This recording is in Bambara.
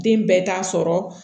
Den bɛɛ t'a sɔrɔ